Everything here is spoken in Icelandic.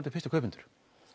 fyrstu kaupendum